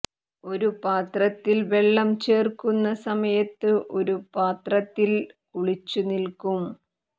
ഒരു പാത്രത്തിൽ വെള്ളം ചേർക്കുന്ന സമയത്ത് ഒരു പാത്രത്തിൽ കുളിച്ചുനിൽക്കും